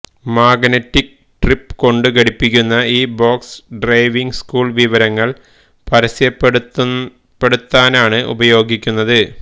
magnetic grip കൊണ്ടു പിടിപ്പിക്കുന്ന ഈ ബോക്സ് ഡ്രൈവിംഗ് സ്കൂള് വിവരങ്ങള് പരസ്യപ്പെടുത്താനാണ് ഉപയോഗിക്കുന്നത്